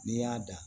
N'i y'a dan